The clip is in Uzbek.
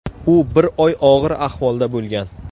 U bir oy og‘ir ahvolda bo‘lgan.